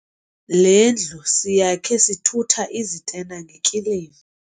Le ndlu siyakhe sithutha izitena ngekiliva.